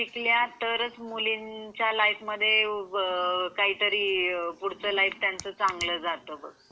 मुली जर शिकल्या तरच मुलींच्या लाईफ मध्ये त्यांचा पुढं लाईफ चांगला जाता.